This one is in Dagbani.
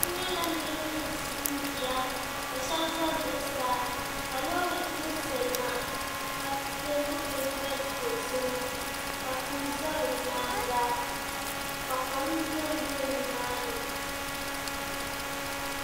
N nyɛla niraba ni ʒinʒiya ka shab ʒɛ zuɣusaa ka loori gbiri salima ka peenti peenta dozim ka tihi ʒɛ bi nyaanga ka kom dondo nimaani